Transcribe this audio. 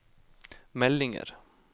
meldinger